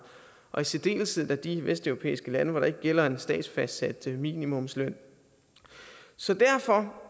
og i særdeleshed da de vesteuropæiske lande hvor der ikke gælder en statsfastsat minimumsløn så derfor